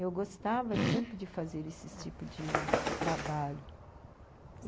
Eu gostava sempre de fazer esses tipo de de trabalho.